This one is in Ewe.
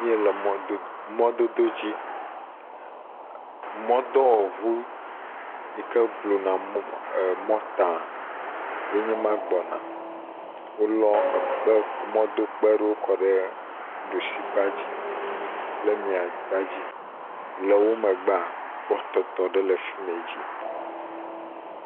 Mɔdodo dzi, mɔdɔwɔ ʋu yike blu na mɔta ye nye ma gbɔ na, wo lɔ mɔdo kpe ɖewo kɔ ɖe ɖushi kpadzi kple mia kpadzi, le wo megba, kpɔtɔtɔ ɖe le fime dzi.